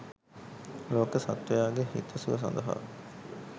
ලෝක සත්ත්වයාගේ හිතසුව සඳහා